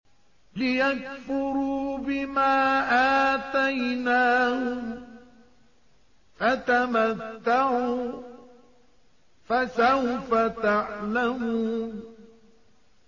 لِيَكْفُرُوا بِمَا آتَيْنَاهُمْ ۚ فَتَمَتَّعُوا ۖ فَسَوْفَ تَعْلَمُونَ